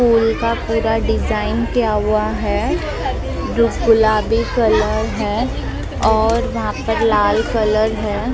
फूल का पूरा डिजाइन किया हुआ हैं जो गुलाबी कलर हैं और वहाँ पर लाल कलर हैं ।